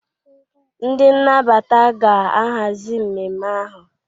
ndị nnabata ga-ahazi mmemme ahụ